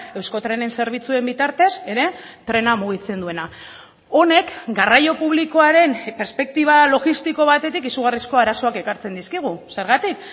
euskotrenen zerbitzuen bitartez ere trena mugitzen duena honek garraio publikoaren perspektiba logistiko batetik izugarrizko arazoak ekartzen dizkigu zergatik